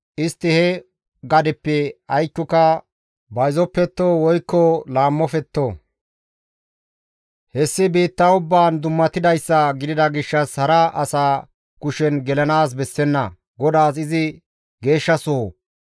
Istti he gadezappe aykkoka bayzoppetto woykko laammofetto. Hessi biitta ubbaan dummatidayssa gidida gishshas hara asa kushen gelanaas bessenna; GODAAS izi geeshshasoho.